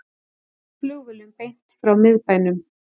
Flugvélum beint frá miðbænum